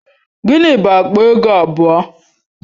Gịnị bụ akpa ego abụọ?